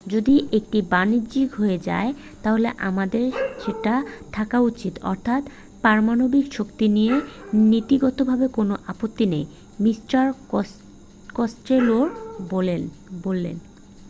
যদি এটা বাণিজ্যিক হয়ে যায় তাহলে আমাদের সেটা থাকা উচিত অর্থাৎ পারমাণবিক শক্তি নিয়ে নীতিগতভাবে কোন আপত্তি নেই মিস্টার কস্টেলো বললেন